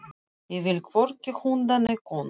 Ég vil hvorki hunda né konur.